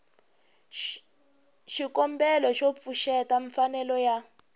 xikombelo xo pfuxeta mfanelo ya